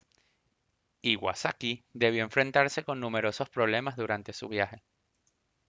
iwasaki debió enfrentarse con numerosos problemas durante su viaje